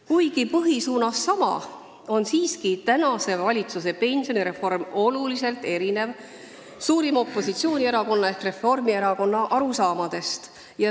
Kuigi põhisuunas sama, on praeguse valitsuse pensionireform siiski oluliselt erinev suurima opositsioonierakonna ehk Reformierakonna arusaamadest.